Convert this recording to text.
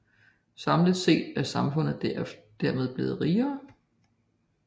Samlet set er samfundet dermed blevet rigere